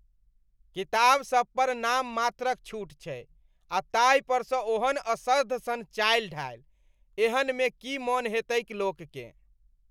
किताबसब पर नाममात्रक छूट छै आ ताहिपरसँ ओहन असर्ध सन चालि ढालि, एहनमे की मन हेतैक लोककेँ।